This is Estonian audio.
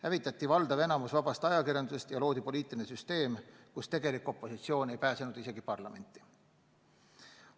Hävitati suurem osa vabast ajakirjandusest ja loodi poliitiline süsteem, kus tegelik opositsioon ei pääsenud isegi parlamenti.